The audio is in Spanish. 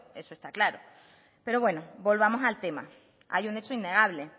eso está claro pero bueno volvamos al tema hay un hecho innegable